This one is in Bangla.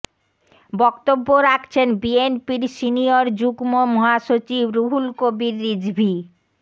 বক্তব্য রাখছেন বিএনপির সিনিয়র যুগ্ম মহাসচিব রুহুল কবির রিজভী